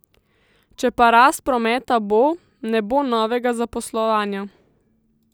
Če pa rast prometa bo, ne bo novega zaposlovanja.